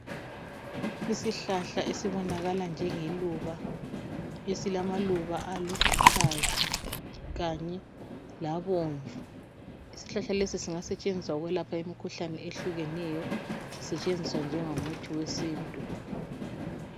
Isihlahla esibonakala njengeluba esilamaluba aluhlaza kanye labomvu. Isihlahla lesi singasetshenziswa ukwelapha imikhuhlane ehlukeneyo sisetshenziswa njengomuthi wesintu.